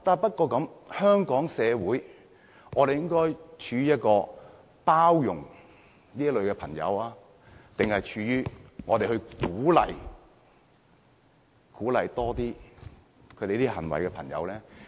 不過，在香港社會，我們應該包容這類人士，還是鼓勵他們這類行為呢？